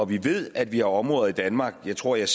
vi ved at vi har områder i danmark og jeg tror jeg